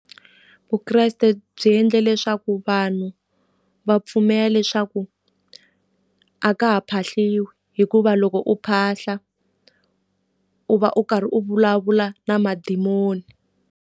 Vukreste byi endle leswaku vanhu va pfumela leswaku a ka ha phahliwi, hikuva loko u phahla u va u karhi u vulavula na madimoni.